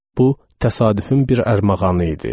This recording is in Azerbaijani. Bu təsadüfün bir ərmağanı idi.